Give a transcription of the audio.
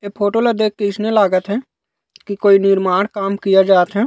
ए photo ल देख के अइसने लागत हे की कोई निर्माण काम किया जात हे।